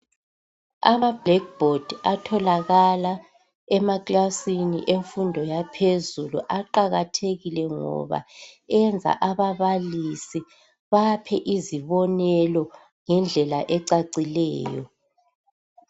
Ama "black board" atholakala emakilasini emfundo yaphezulu aqakathekile ngoba enza ababalisi baphe izibonelo ngendlela ecacileyo.